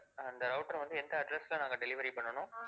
அந்த router வந்து எந்த address ல நாங்க delivery பண்ணனும்?